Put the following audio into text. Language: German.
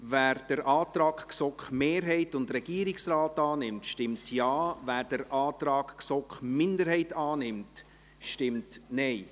Wer den Antrag GSoK-Mehrheit und Regierungsrat annimmt, stimmt Ja, wer den Antrag GSoK-Minderheit annimmt, stimmt Nein.